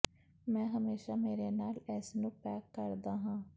ਮੈਂ ਹਮੇਸ਼ਾ ਮੇਰੇ ਨਾਲ ਇਸ ਨੂੰ ਪੈਕ ਕਰਦਾ ਹਾਂ